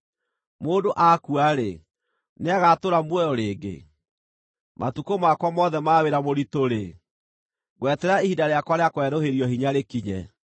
Mũndũ akua-rĩ, nĩagatũũra muoyo rĩngĩ? Matukũ makwa mothe ma wĩra mũritũ-rĩ, ngweterera ihinda rĩakwa rĩa kwerũhĩrio hinya rĩkinye.